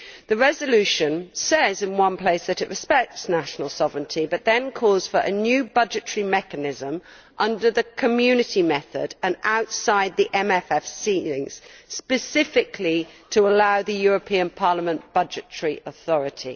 The resolution says in one place that it respects national sovereignty but then calls for a new budgetary mechanism under the Community method and outside the MFF ceilings, specifically to allow the European Parliament budgetary authority.